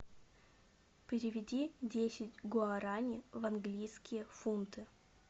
переведи десять гуарани в английские фунты